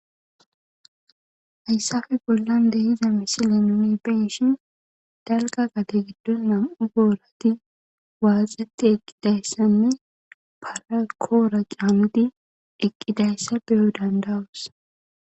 hayssafe bollan dehiza misile nuni beshin dalga gate giddon nam7u boorati waaxati eqqidayssanne parakoora qaamudi eqqidayssa beyo dandawus